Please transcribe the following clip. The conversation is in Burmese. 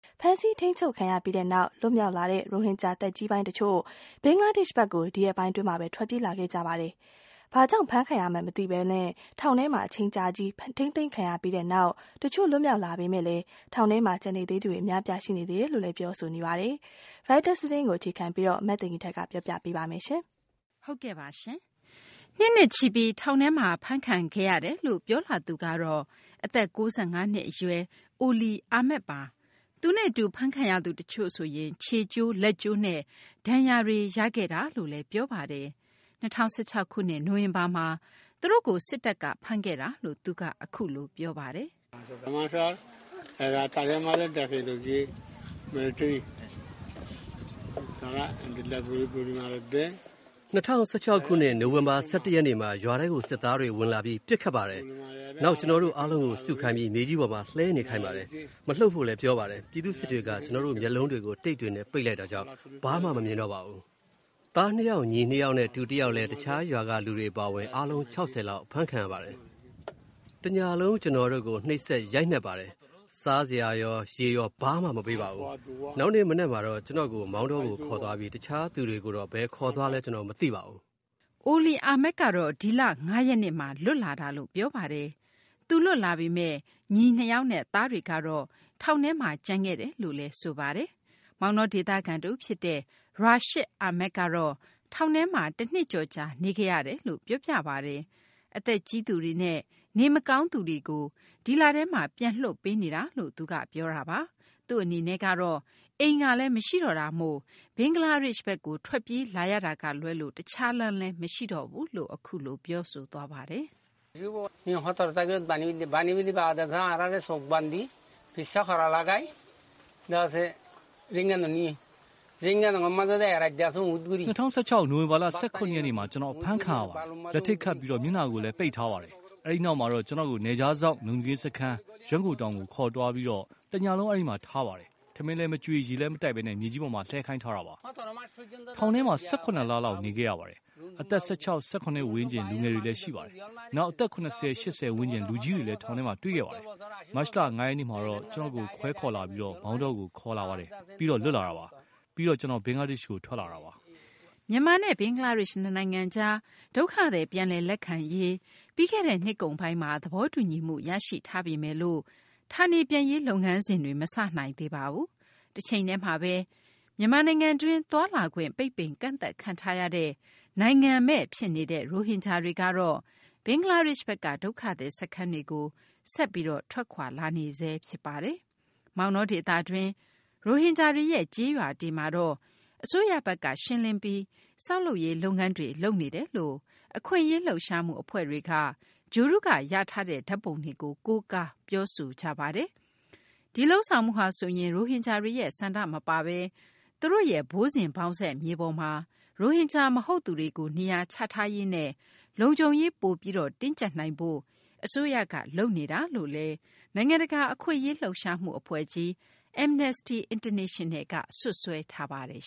ဖမ်းဆီးချုပ်နှောင်ခံခဲ့ရပြီးနောက် လွတ်မြောက်လာတဲ့ ရိုဟင်ဂျာ သက်ကြီးပိုင်း အချို့ ဘင်္ဂလားဒေရှ့်ဘက်ကို ဒီရက်ပိုင်း အတွင်းမှာဘဲ ထွက်ပြေးလာခဲ့ကြပါတယ်။ ဘာကြောင့် ဖမ်းခံရမှန်း မသိဘဲ ထောင်ထဲမှာ အချိန်အတော်ကြာ ထိန်းသိမ်းခံခဲ့ရပြီးနောက် တချို့ လွတ်မြောက်လာပေမယ့် ထောင်ထဲမှာ ကျန်နေသူတွေလည်း အများအပြား ရှိနေဆဲ ဖြစ်တယ်လို့ ပြောဆိုကြပါတယ်။ Reuters သတင်းကို အခြေခံပြီး မသိင်္ဂ ီထိုက် ပြောပြပေးမှာပါ။ နှစ်နဲ့ချီပြီး ထောင်ထဲမှာ ဖမ်းခံခဲ့ရတယ်လို့ ပြောလာသူကတော့ အသက် ၉၅ နှစ် အရွယ် Oli Ahmed ပါ။ သူနဲ့အတူ ဖမ်းခံရသူ တချို့ဆိုရင် ခြေကျိုး လက်ကျိုးနဲ့ ဒဏ်ရာတွေ ရခဲ့တယ်လို့လည်း ပြောပါတယ်။ ၂၀၁၆ ခုနှစ် နိုဝင်ဘာလမှာ သူတို့ကို စစ်တပ်က ဖမ်းခဲ့တာလို့လည်း သူက ပြောပါတယ်။ "၂၀၁၆ ခုနှစ် နိုဝင်ဘာလ ၁၁ ရက်နေ့မှာ ရွာထဲကို စစ်သားတွေ ဝင်လာပြီး ပစ်ခတ်ပါတယ်။ နောက် ကျနော်တို့ အားလုံးကို စုခိုင်းပြီး မြေကြီးပေါ်မှာ လှဲနေခိုင်းပါတယ်။ မလှုပ်ဖို့လည်း ပြောပါတယ်။ ပြည်သူ့စစ်တွေက ကျနော်တို့ မျက်လုံးတွေကို တိပ်တွေနဲ့ ပိတ်လိုက်တာကြောင့် ဘာမှ မမြင်တော့ပါဘူး။" "သားနှစ်ယောက်၊ ညီနှစ်ယောက်နဲ့ တူတယောက်လည်း တခြား ရွာက လူတွေ အပါအဝင် အားလုံးပေါင်း ၆၀ လောက် ဖမ်းခံရပါတယ်။" "တညလုံး ကျနော်တို့ကို နှိပ်စက် ရိုက်နှက်ပါတယ်။ စားစရာ ရော ရေရော ဘာမှ မပေးပါဘူး။ နောက်နေ့ မနက်မှာတော့ ကျနော်ကို မောင်တောကို ခေါ်သွားပြီး တခြားသူတွေကိုတော့ ဘယ်ခေါ်သွားလဲ ကျနော် မသိပါဘူး။" Oli Ahmed ကတော့ ဒီလ ၅ ရက်နေ့မှာ လွတ်လာတာလို့ ပြောပါတယ်။ သူလွတ်လာပေမယ့် ညီနှစ်ယောက်နဲ့ သားတွေကတော့ ထောင်ထဲမှာ ကျန်ခဲ့တဲ့ အကြောင်းလည်း ပြောပါတယ်။ မောင်တောဒေသခံ တဦးဖြစ်တဲ့ Rashid Ahmed ကတော့ ထောင်ထဲမှာ တနှစ်ကျော်ကြာ နေခဲ့ရတယ်လို့ ပြောပြပါတယ်။ အသက်ကြီးသူတွေနဲ့ နေမကောင်းသူတွေကို ဒီလထဲမှာ ပြန်လွှတ်ပေးနေတာလို့လည်း ပြောပါတယ်။ သူ့အနေနဲ့ကတော့ အိမ်ကလည်း မရှိတော့တာမို့ ဘင်္ဂလားဒေရှ့်ဘက်ကို ထွက်ပြေးလာတာကလွဲလို့ တခြား လမ်းမရှိတော့ဘူးလို့ ပြောဆိုပါတယ်။ "၂၀၁၆ နိုဝင်ဘာ ၁၇ ရက်နေ့မှာ ကျနော် အဖမ်းခံရပါတယ်။ လက်ထိပ်ခတ်ပြီး မျက်နှာကိုလည်း ပိတ်ထားပါတယ်။ အဲဒီနောက်မှာတော့ ကျနော့်ကို နယ်ခြားစောင့် လုံခြုံရေး စခန်း ရွက်ငိုတောင် ကို ခေါ်သွားပြီး တညလုံး အဲဒီမှာ ထားပါတယ်။ ထမင်းလည်း မကျွေး ရေလည်း မတိုက်ဘဲ မြေကြီးပေါ်မှာ လှဲခိုင်းထားတာပါ။" "ထောင်ထဲမှာ ၁၇ လ နေခဲ့ရပါတယ်။ အသက် ၁၆ ၊ ၁၇ ဝန်းကျင် လူငယ်တွေလည်း ရှိတယ်၊ နောက် အသက် ၇၀ - ၈၀ ဝန်းကျင် လူကြီးတွေလည်း ထောင်ထဲမှာ တွေ့ခဲ့ပါတယ်။ မတ်လ ၅ ရက်နေ့မှာတော့ ကျနော့်ကို ခွဲခေါ်လာပြီး မောင်တောကို ခေါ်လာပါတယ်။ ပြီးတော့ လွတ်လာတာပါ။ ပြီးတော့ ကျနော် ဘင်္ဂလားဒေရှ့်ကို ထွက်လာတာပါ။" မြန်မာနဲ့ ဘင်္ဂလားဒေရှ့် နှစ်နိုင်ငံကြား ဒုက္ခသည် ပြန်လည် လက်ခံရေး ပြီးခဲ့တဲ့ နှစ်ကုန်ပိုင်းမှာ သဘောတူညီမှုရရှိထားပေမယ့် ဌာနေပြန်ရေး လုပ်ငန်းစဉ် မစတင်နိုင်သေးပါဘူး။ တချိန်တည်းမှာဘဲ မြန်မာနိုင်ငံတွင်း သွားလာခွင့် ပိတ်ပင် ကန့်သတ်ခံထားရတဲ့ နိုင်ငံမဲ့ ဖြစ်နေတဲ့ ရိုဟင်ဂျာတွေကတော့ ဘင်္ဂလားဒေရှ့်ဘက်က ဒုက္ခသည် စခန်းတွေကို ဆက်ပြီး ထွက်ခွာလာနေဆဲ ဖြစ်ပါတယ်။ မောင်တောဒေသတွင်း ရိုဟင်ဂျာတွေရဲ့ ကျေးရွာတွေမှာတော့ အစိုးရဘက်က ရှင်းလင်းပြီး ဆောက်လုပ်ရေး လုပ်ငန်းတွေ လုပ်နေတယ်လို့ အခွင့်အရေး လှုပ်ရှားမှု အဖွဲ့တွေက ဂြိုဟ်တုက ရထားတဲ့ ဓာတ်ပုံတွေကို ကိုးကား ပြောဆိုကြပါတယ်။ ဒီလုပ်ဆောင်မှုဟာဆိုရင် ရိုဟင်ဂျာတွေရဲ့ ဆန္ဒမပါဘဲ သူတို့ရဲ့ ဘိုးစဉ်ဘောက်ဆက် မြေပေါ်မှာ ရိုဟင်ဂျာ မဟုတ်သူတွေကို နေရာချထားရေးနဲ့ လုံခြုံရေး ပိုပြီး တင်းကျပ်နိုင်ဖို့ အစိုးရက လုပ်နေတာလို့လည်း နိုင်ငံတကာ အခွင့်အရေး လှုပ်ရှားမှု အဖွဲ့ကြီး Amnesty International က စွပ်စွဲထားပါတယ်